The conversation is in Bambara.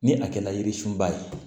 Ni a kɛla yirisunba ye